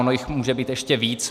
Ono jich může být ještě víc.